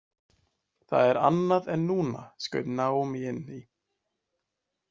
Það er annað en núna, skaut Naomi inn í.